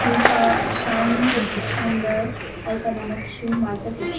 ಮುಲ್ಪ ಅಂದ್ ಅಲ್ಪ ನಮಕ್ ಶೂ ಮಾತ ತಿಕ್ಕುಂಡು.